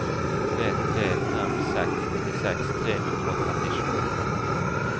tre tre fem seks nittiseks tre hundre og trettisju